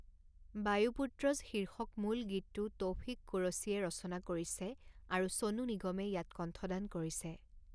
বায়ুপুত্ৰজ শীৰ্ষক মূল গীতটো তৌফিক কুৰশ্বিয়ে ৰচনা কৰিছে আৰু ছনু নিগমে ইয়াত কণ্ঠদান কৰিছে।